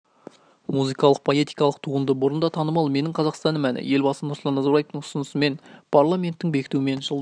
музыкалық-поэтикалық туынды бұрын да танымал менің қазақстаным әні елбасы нұрсұлтан назарбаевтың ұсынысымен парламенттің бекітуімен жылдың